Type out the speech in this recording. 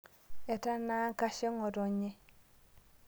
Etanaa nkashe ng'otenye